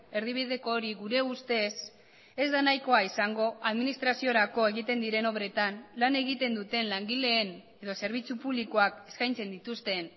erdibideko hori gure ustez ez da nahikoa izango administraziorako egiten diren obretan lan egiten duten langileen edo zerbitzu publikoak eskaintzen dituzten